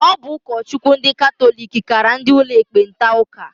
Ọ bụ ụkọchukwu ndị katọlik kara ndị ụlọ ekpenta ụka.